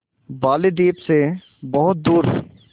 बालीद्वीप सें बहुत दूर